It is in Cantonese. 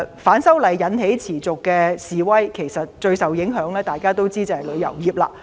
反修例引起持續示威，大家知道最受影響的是旅遊業。